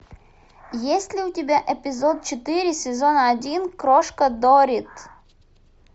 есть ли у тебя эпизод четыре сезон один крошка доррит